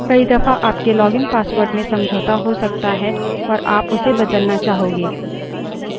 कई दफा आपके login password में समझौता हो सकता है और आप उसे बदलना चाहोगे